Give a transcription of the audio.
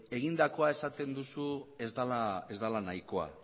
egindakoa esaten duzu ez dela nahikoa